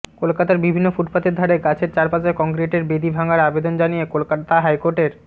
কলকাতার বিভিন্ন ফুটপাথের ধারে গাছের চারপাশে কংক্রিটের বেদি ভাঙার আবেদন জানিয়ে কলকাতা হাইকোর্টের